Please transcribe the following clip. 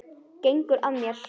Gengur að mér.